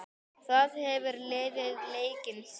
Þar hefur liðið leikið síðan.